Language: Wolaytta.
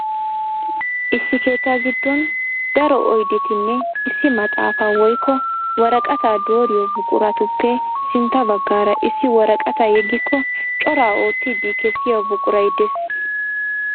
Issi keettaa giddooni daro oyidettinne issi maxaapaa woyikko woraqataa dooriyo buquratuppe sintta baggaara issi woraqataa yeggiko cora oottiddi kessiya buquray des.